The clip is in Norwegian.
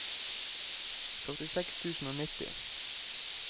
førtiseks tusen og nitti